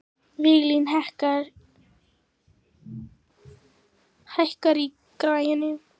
Viglín, hækkaðu í græjunum.